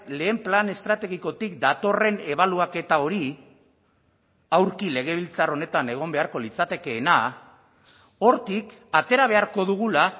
lehen plan estrategikotik datorren ebaluaketa hori aurki legebiltzar honetan egon beharko litzatekeena hortik atera beharko dugula